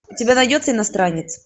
у тебя найдется иностранец